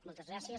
moltes gràcies